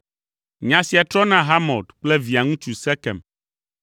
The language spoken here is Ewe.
Nya sia trɔ na Hamor kple Via ŋutsu Sekem.